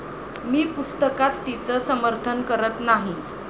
मी पुस्तकात तिचं समर्थन करत नाही.